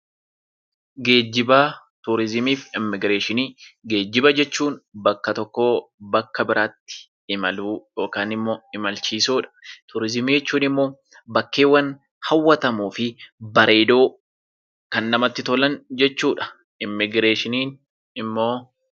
Geejjiba, turizimii fi immigireeshinii. Geejjiba jechuun bakka tokkoo bakka biraatti imaluu yookaan immoo imalchiisuudha. Turizimii jechuun immoo bakkeewwan hawwatamoo fi bareedoo kan namatti tolan jechuudha. Immigireeshinii immoo